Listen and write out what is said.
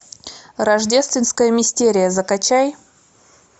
рождественская мистерия закачай